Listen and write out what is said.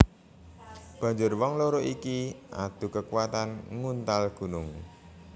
Banjur wong loro iki adu kekuatan nguntal gunung